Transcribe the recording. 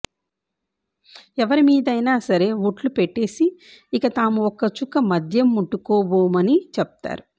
ఎవ్వరిమీదైనా సరే ఒట్లు పెట్టేసి ఇక తాము ఒక్క చుక్క మద్యం ముట్టుకోపోబని చెప్తారు